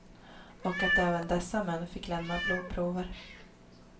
Och att även dessa män fick lämna blodprover.